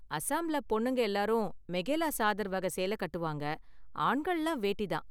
அஸாம்ல பொண்ணுங்க எல்லாரும் மெகேலாசாதர் வகை சேலை கட்டுவாங்க, ஆண்கள்லாம் வேட்டி தான்.